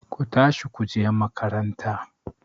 Ku tashi ku je makaranta!